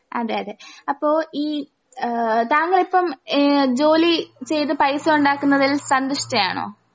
അതെയതെ അപ്പൊ ഈ ഏഹ് താങ്കളിപ്പം ഏഹ് ജോലി ചെയ്ത് പൈസ ഒണ്ടാക്കുന്നതിൽ സന്തുഷ്ടയാണോ?